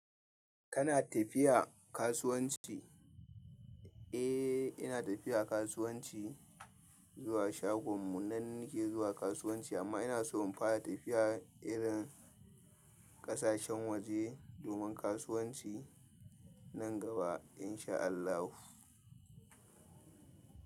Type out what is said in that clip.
Kana tafiya kasuwanci? Eh, ina tafiya kasuwanci zuwa shagon mu nan nake zuwa kasuwanci amma ina so in fara tafiya irin ƙasashen waje domin kasuwanci nan gaba in sha Allahu.